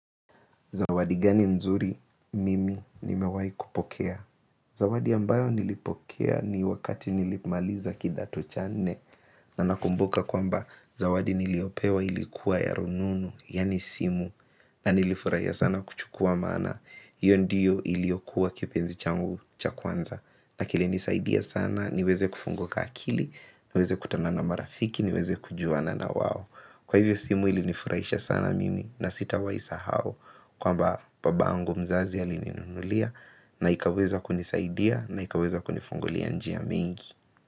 Zawadi gani mzuri mimi nimewai kupokea. Zawadi ambayo nilipokea ni wakati nilimaliza kidato cha nne. Na nakumbuka kwamba zawadi niliopewa ilikuwa ya rununu, yaani simu. Na nilifurahia sana kuchukua maana. Iyo ndiyo iliokuwa kipenzi changu cha kwanza. Na kili nisaidia sana, niweze kufunguka akili, niweze kutana na marafiki, niweze kujuana na wao. Kwa hivyo simu ili nifurahisha sana mimi na sitawai sahau. Kwamba babangu mzazi alininunulia na ikaweza kunisaidia na ikaweza kunifungulia njia mingi.